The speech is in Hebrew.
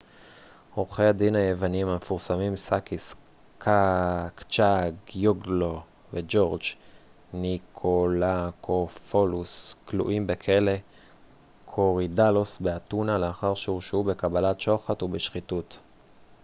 עורכי הדין היוונים המפורסמים סאקיס קצ'אגיוגולו וג'ורג' ניקולאקופולוס כלואים בכלא קורידאלוס באתונה לאחר שהורשעו בקבלת שוחד ובשחיתות